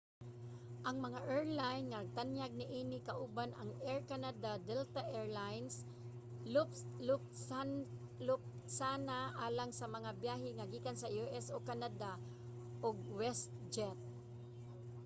ang mga airline nga nagtanyag niini kauban ang air canada delta air lines lufthansa alang sa mga byahe nga gikan sa u.s. o canada ug westjet